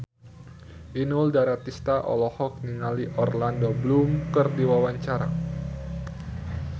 Inul Daratista olohok ningali Orlando Bloom keur diwawancara